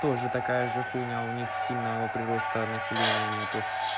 тоже такая же хуйня у них сильного прироста населения нету